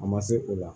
A ma se o la